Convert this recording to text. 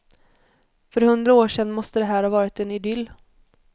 För hundra år sedan måste här ha varit en idyll.